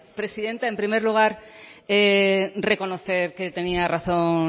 presidenta en primer lugar reconocer que tenía razón